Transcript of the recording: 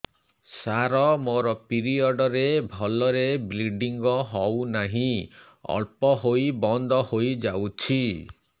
ସାର ମୋର ପିରିଅଡ଼ ରେ ଭଲରେ ବ୍ଲିଡ଼ିଙ୍ଗ ହଉନାହିଁ ଅଳ୍ପ ହୋଇ ବନ୍ଦ ହୋଇଯାଉଛି